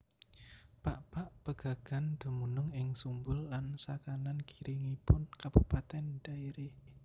Pakpak Pegagan dumunung ing Sumbul lan sakanan kiringipun Kabupatèn Dairi